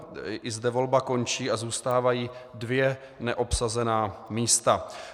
I zde volba končí a zůstávají dvě neobsazená místa.